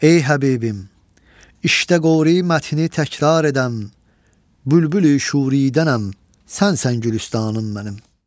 Ey Həbibim, işdə qövri-mətni təkrar edəm, bülbüli-şuriddənəm sənsən gülüstanım mənim.